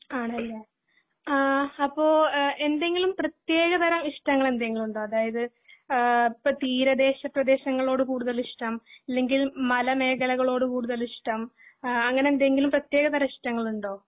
ആണല്ലേ, ആഹ് അപ്പൊ എന്തെങ്കിലും പ്രത്യേക തരം ഇഷ്ടങ്ങൾ എന്തെങ്കിലും ഉണ്ടോ അതായത് ആഹ് ഇപ്പൊ തീരദേശ പ്രദേശങ്ങളോട് കൂടുതൽ ഇഷ്ട്ടം ഇല്ലെങ്കിൽ മല മേഖലകളോട് കൂടുതൽ ഈഷ്ടം അഹ് അങ്ങിനെ എന്തെങ്കിലും പ്രത്യേക തരം ഇഷ്ടങ്ങൾ ഉണ്ടോ